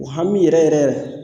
O hami yɛrɛ yɛrɛ yɛrɛ yɛrɛ